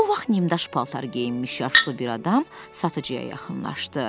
Bu vaxt nimdaş paltar geyinmiş yaşlı bir adam satıcıya yaxınlaşdı.